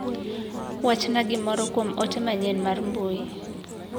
Wachna gimiro kuom ote manyien mar mbui.